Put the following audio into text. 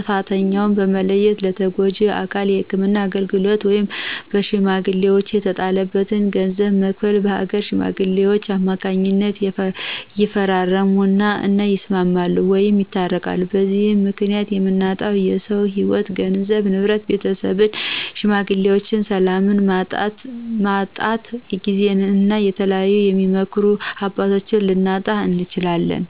ጥፍተኛውን በመለየት ለተጎጁ አካል የህክምና አገልግሎት ወይም በሽሜግሌወች የተጣለበትን ገንዘብ በመክፈል በአገር ሽማግሌወች ከማካኝነት ይፈራረም እና ይስማማሉ ወይም ያስታርቃሉ። በዚህም ምክኒያት የምናጣው የሰውም ህይዎት ገንዘብ፣ ንብረት፣ ቤተሰብን የሽማግሌዎችን፣ ሰላምን ማጣት ጊዜን እና የተለያዩ የሚመክሩን አባቶች ልናጣ እንችላለን።